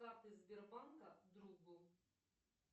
карты сбербанка другу